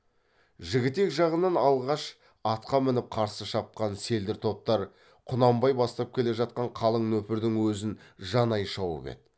жігітек жағынан алғаш атқа мініп қарсы шапқан селдір топтар құнанбай бастап келе жатқан қалың нөпірдің өзін жанай шауып еді